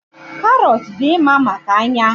Karọt dị mma maka anya.